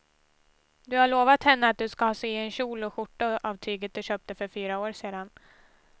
Du har lovat henne att du ska sy en kjol och skjorta av tyget du köpte för fyra år sedan.